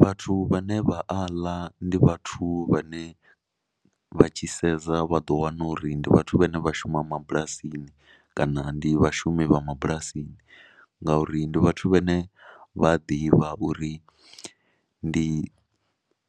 Vhathu vhane vha a ḽa ndi vhathu vhane vha tshi sedza vha ḓo wana uri ndi vhathu vhane vha shuma mabulasini kana ndi vhashumi vha mabulasini ngauri ndi vhathu vhane vha a ḓivha uri ndi